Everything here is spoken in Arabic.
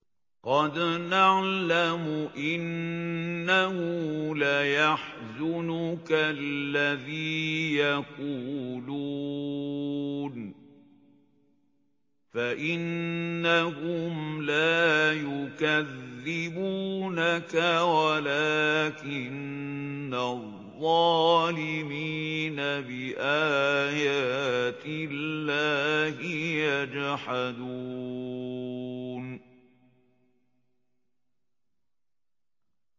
قَدْ نَعْلَمُ إِنَّهُ لَيَحْزُنُكَ الَّذِي يَقُولُونَ ۖ فَإِنَّهُمْ لَا يُكَذِّبُونَكَ وَلَٰكِنَّ الظَّالِمِينَ بِآيَاتِ اللَّهِ يَجْحَدُونَ